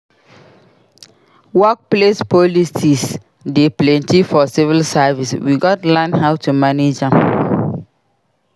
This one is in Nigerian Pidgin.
Workplace politics dey plenty for civil service; we gats learn how to manage am.